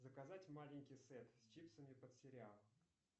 заказать маленький сет с чипсами под сериал